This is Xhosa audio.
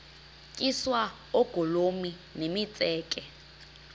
tyiswa oogolomi nemitseke